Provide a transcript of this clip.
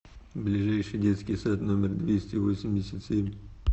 ближайший детский сад номер двести восемьдесят семь